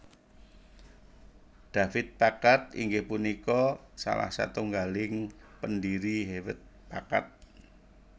David Packard inggih punika salah satunggaling pendiri Hewlett Packard